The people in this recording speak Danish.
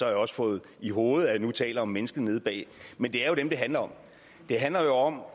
jeg også fået i hovedet at jeg nu taler om mennesker nede bagved men det er jo dem det handler om det handler jo om